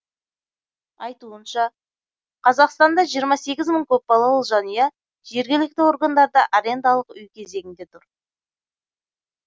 айтуынша қазақстанда жиырма сегіз мың көпбалалы жанұя жергілікті органдарда арендалық үй кезегінде тұр